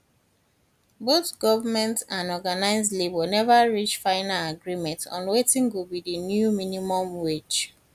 both goment and organised labour neva reach final agreement on wetin go be di new minimum wage